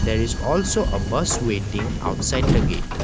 there is also a bas waiting outside the gate.